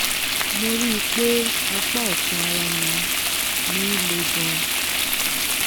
mo rí i pé apá ọ̀tún ara mi mi le gan-an